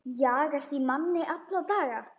Jagast í manni alla daga.